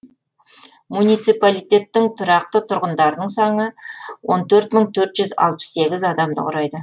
муниципалитеттің тұрақты тұрғындарының саны он төрт мың төрт жүз алпыс сегіз адамды құрайды